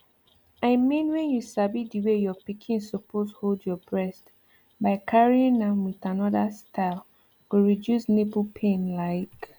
i mean when you sabi the way your pikin suppose hold your breast by carrying am with another style go reduce nipple pain like